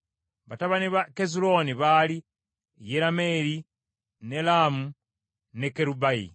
Batabani ba Kezulooni baali Yerameeri, ne Laamu ne Kerubayi.